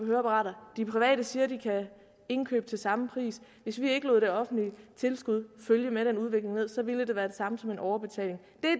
høreapparater de private siger at de kan indkøbe det samme pris hvis vi ikke lod det offentlige tilskud følge denne udvikling med ned så ville det være det samme som en overbetaling